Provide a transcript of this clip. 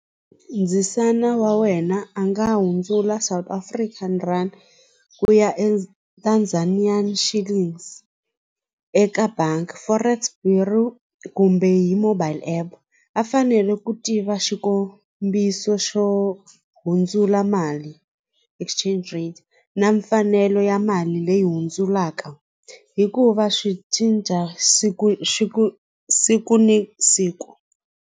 Ndzisana wa wena a nga hundzula South African rand ku ya eka eka bangi forex bureau kumbe hi mobile app a fanele ku tiva xikombiso xo hundzula mali exchange rate na mfanelo ya mali leyi hundzulaka hikuva swi cinca siku xi ku siku ni siku.